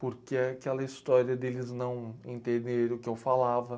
porque aquela história deles não entenderem o que eu falava.